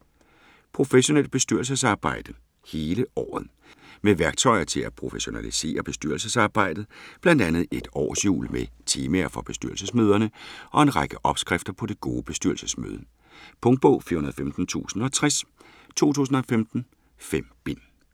Professionelt bestyrelsesarbejde - hele året Med værktøjer til at professionalisere bestyrelsesarbejdet. Blandt andet et årshjul med temaer for bestyrelsesmøderne og en række "opskrifter" på det gode bestyrelsesmøde. Punktbog 415060 2015. 5 bind.